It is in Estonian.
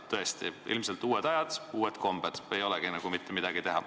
Tõesti, ilmselt on uued ajad ja uued kombed, ei olegi nagu mitte midagi teha.